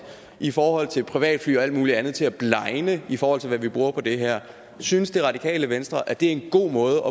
i forhold til privatfly og alt muligt andet til at blegne i forhold til hvad vi bruger på det her synes det radikale venstre at det er en god måde